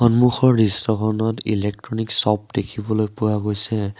সন্মুখৰ দৃশ্যখনত electronic shop দেখিবলৈ পোৱা গৈছে।